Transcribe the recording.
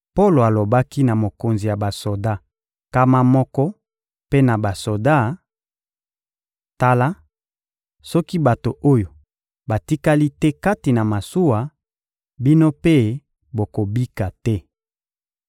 Polo alobaki na mokonzi ya basoda nkama moko mpe na basoda: — Tala, soki bato oyo batikali te kati na masuwa, bino mpe bokobika te.